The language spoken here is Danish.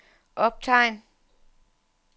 optegn